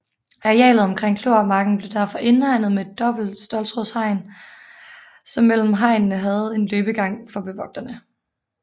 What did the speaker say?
Arealet omkring Kløvermarken blev derfor indhegnet med et dobbelt ståltrådshegn som mellem hegnene havde en løbegang for bevogterne